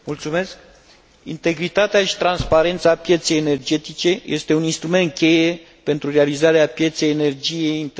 Integritatea și transparența pieței energetice este un instrument cheie pentru realizarea pieței energiei interne până în